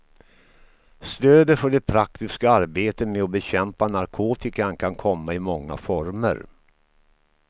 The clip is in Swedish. Stödet för det praktiska arbetet med att bekämpa narkotikan kan komma i många former.